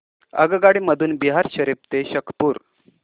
आगगाडी मधून बिहार शरीफ ते शेखपुरा